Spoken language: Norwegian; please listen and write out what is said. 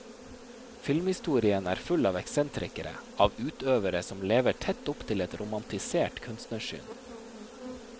Filmhistorien er full av eksentrikere, av utøvere som lever tett opp til et romantisert kunstnersyn.